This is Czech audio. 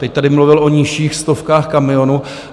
Teď tady mluvil o nižších stovkách kamionů.